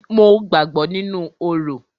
Mo gbàgbọ́ nínú orò.